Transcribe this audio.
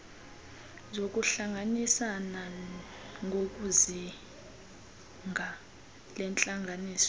zokuhlanganisana ngokwezinga lentlanganiso